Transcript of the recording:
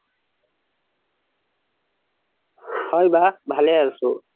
হয় বা ভালে আছো